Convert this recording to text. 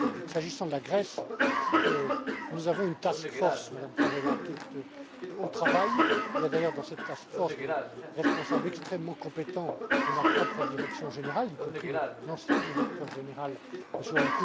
S'agissant de la Grèce, nous avons une task force, Madame Tzavela, qui est au travail. Il y a d'ailleurs dans cette task force des responsables extrêmement compétents de ma propre direction générale, y compris l'ancien directeur général,